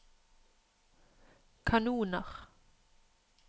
kanoner